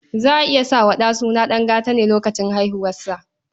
Za a iya sa wa ɗa suna dangane da lokacin haihuwarsa.